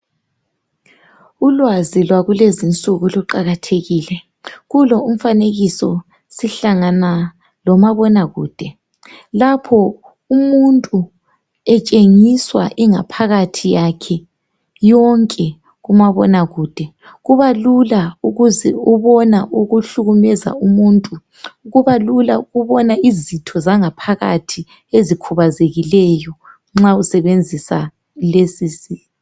Ulwazi lwakulezinsuku kuqakathekile kulo umfanekiso sihlangana lomabonakude lapho umuntu etshengiswa ingaphakathi yakhe yonke kumabonakude kubalula ukuzibona okuhlukumeza umuntu kubalula ukubona izitho zangaphakathi ezikhubazekileyo nxa usebenzisa lesi.